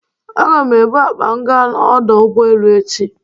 Aga m ebụ akpa m gaa n'ọdọ ụgbọelu echi